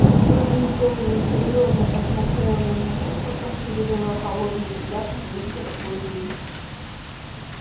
сьюзен кэлвин серьёзно посмотрела на него потом перевела холодный взгляд на мистера куинна